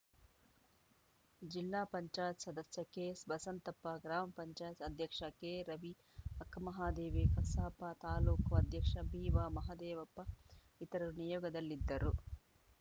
ಜಿಲ್ಲಾ ಪಂಚಾಯತ್ ಸದಸ್ಯ ಕೆಎಸ್‌ಬಸಂತಪ್ಪ ಗ್ರಾಮ ಪಂಚಾಯತ್ ಅಧ್ಯಕ್ಷ ಕೆರವಿ ಅಕ್ಕಮಹಾದೇವಿ ಕಸಾಪ ತಾಲೂಕು ಅಧ್ಯಕ್ಷ ಬಿವಾಮದೇವಪ್ಪ ಇತರರು ನಿಯೋಗದಲ್ಲಿದ್ದರು